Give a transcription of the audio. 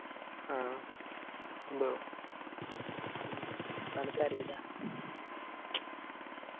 ആ ഇണ്ടോ അനക്ക് അറിയില്ല